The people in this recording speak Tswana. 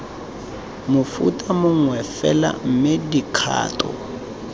mofuta mongwe fela mme dikgato